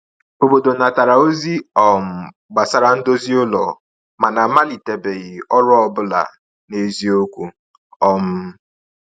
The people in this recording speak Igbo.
Obodo natara ozi um gbasara ndozi ụlọ, mana a malitebeghị ọrụ ọ bụla n’eziokwu. um